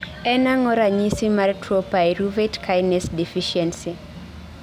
En ang'o ranyisi mar tuo Pyruvate Kinase Deficiency?